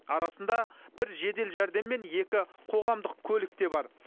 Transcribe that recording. арасында бір жедел жәрдем мен екі қоғамдық көлік те бар